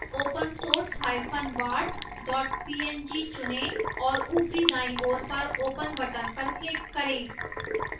opensourcebart png चुनें और ऊपरी दाईं ओर पर open button पर click करें